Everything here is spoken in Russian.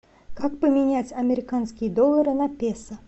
как поменять американские доллары на песо